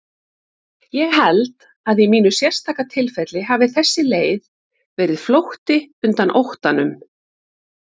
Ég held að í mínu sérstaka tilfelli hafi þessi leið verið flótti undan óttanum.